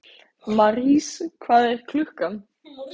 Marís, hvað er klukkan?